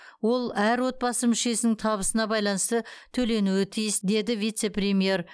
ол әр отбасы мүшесінің табысына байланысты төленуі тиіс деді вице премьер